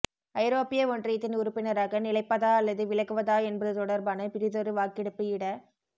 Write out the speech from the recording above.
ஐரோப்பிய ஒன்றியத்தின் உறுப்பினராக நிலைப்பதா அல்லது விலகுவதா என்பது தொடர்பான பிறிதொரு வாக்கெடுப்பு இட